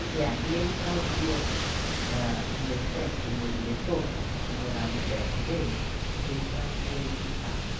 E, ah, e ele trazia o meu chefe, o meu diretor, que morava perto dele, ele trazia ele de carro.